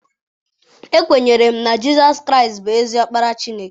Ekwere m na Jizọs Kraịst bụ ezi Ọkpara Chineke.